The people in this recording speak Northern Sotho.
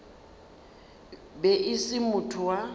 be e se motho wa